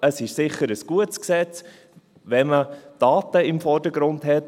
Es ist sicher ein gutes Gesetz, wenn man die Daten im Vordergrund hat.